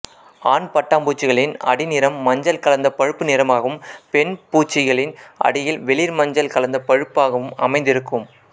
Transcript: ஆண் பட்டாம்பூச்சிகளின் அடிநிறம் மஞ்சள் கலந்த பழுப்பு நிறமாகவும் பெண் பூச்சிகளின் அடியில் வெளிர்மஞ்சள் கலந்த பழுப்பாகவும் அமைந்திருக்கும்